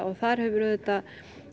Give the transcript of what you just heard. og þar hefur auðvitað